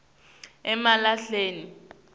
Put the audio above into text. emalahleni